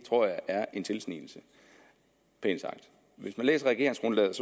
tror jeg er en tilsnigelse pænt sagt hvis man læser regeringsgrundlaget